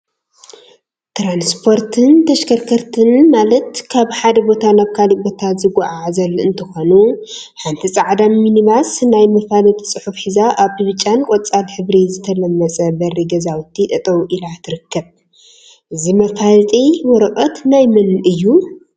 ትራስፖርትን ተሽከርከርቲን ማለት ካብ ሓደ ቦታ ናብ ካሊእ ቦታ ዘጓዓዕዙ እንትኾኑ፤ ሓንቲ ፃዕዳ ሚኒ ባስ ናይ መፋለጢ ፅሑፍ ሒዛ አብ ብጫን ቆፃል ሕብሪ ዝተለመፀ በሪ ገዛውቲ ጠጠው ኢላ ትርከብ፡፡ እዚ መፋለጢ ወረቀት ናይ መን እዩ?